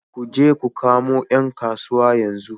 Ku je ku kamo ’yan kasuwa yanzu